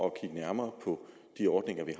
at kigge nærmere på de ordninger vi